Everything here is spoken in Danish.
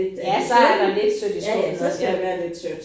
Ja så er der lidt sødt i skuffen også ja